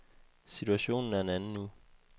Situationen er en anden nu.